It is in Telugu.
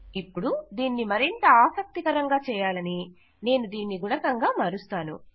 ఇపుడు దీన్ని మరింత ఆసక్తికరంగా చేయాలని నేను దీనిని గుణకం గా మారుస్తాను